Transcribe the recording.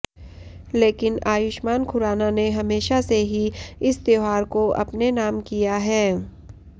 लेकिन आयुष्मान खुराना ने हमेशा से ही इस त्योहार को अपने नाम किया है